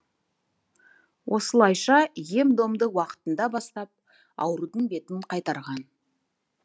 осылайша ем домды уақытында бастап аурудың бетін қайтарған